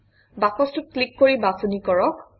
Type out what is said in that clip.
বাকচটোত click কৰি বাছনি কৰক